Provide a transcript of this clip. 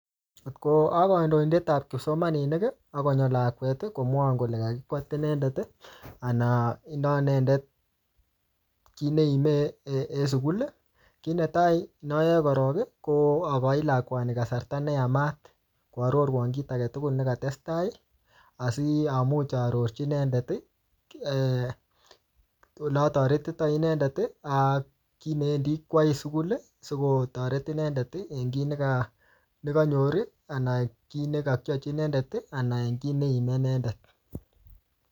Ngotko akandoidet ap kipsomaninik, akonyo lakwet komwaiwaon kole kakikwet inendet, anan tindoi ndendet kiy neime en sukul, kiy netai ne ayae korok, ko akochi lakwani kasrat ne yamat, koarorwan kiy age tugul ne katestai, asimuch arorchi inendet, um ole atoretitoi inendet, ak kiy newendi kwae sukul sikotoret inendet, en kiy neka-nekanyor anan kiy nekakiachi inendet, anan kiy ne iime inendet.